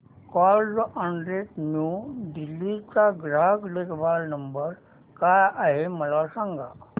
Carzonrent new Delhi चा ग्राहक देखभाल नंबर काय आहे मला सांग